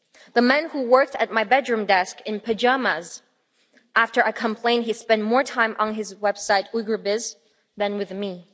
The man who worked at my bedroom desk in pyjamas after I complained he spent more time on his website Uyghur Biz' than with me.